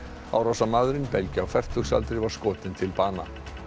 árásarmaðurinn belgi á fertugsaldri var skotinn til bana